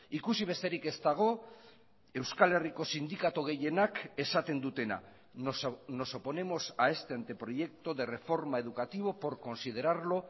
ikusi besterik ez dago euskal herriko sindikatu gehienak esaten dutena nos oponemos a este anteproyecto de reforma educativo por considerarlo